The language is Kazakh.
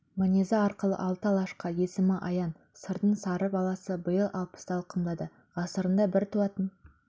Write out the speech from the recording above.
мінезі арқылы алты алашқа есімі аян сырдың сары баласы биыл алпысты алқымдады ғасырында бір туатын